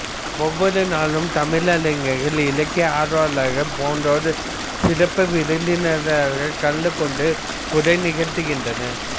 ஒவ்வொரு நாளும் தமிழ் அறிஞர்கள் இலக்கிய ஆர்வலர்கள் போன்றோர் சிறப்பு விருந்தினர்களாகக் கலந்து கொண்டு உரை நிகழ்த்துகின்றனர்